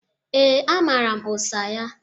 Ee, amara m ụsa ya.